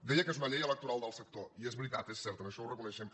deia que és una llei electoral del sector i és veritat és cert això ho reconeixem